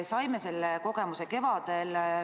Saime selle kogemuse kevadel.